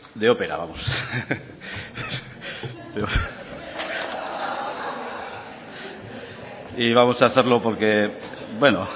de ópera vamos berbotsa y vamos hacerlo porque bueno